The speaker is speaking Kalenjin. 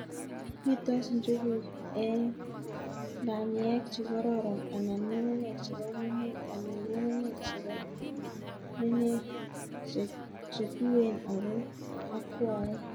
Pitos njuguk eng'nganiek chekororon anan ng'ung'unyek chepo menet anan ngunguyek chepo menek chetuen ako yakwaen